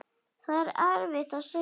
Það er erfitt að segja.